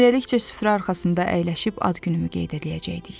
Ailəlikcə süfrə arxasında əyləşib ad günümü qeyd eləyəcəkdik.